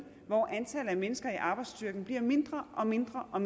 hvor antallet af mennesker i arbejdsstyrken bliver mindre og mindre og